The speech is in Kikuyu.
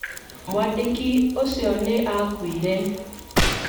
Mwandĩki ũcio nĩ aakuire.